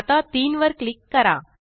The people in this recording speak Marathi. आता 3 वर क्लिक करा